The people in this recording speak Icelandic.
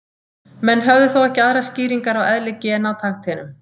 Menn höfðu þó ekki aðrar skýringar á eðli gena á takteinum.